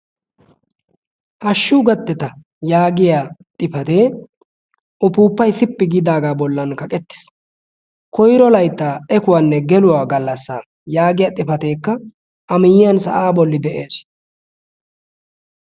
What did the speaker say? hashshuu gatteta yaagiya xifatee ufuuppai sippi giidaagaa bollan kaqettiis koiro laittaa ekuwaanne geluwaa gallassa yaagiya xifateekka a miyiyan sa'aa bolli de'ees.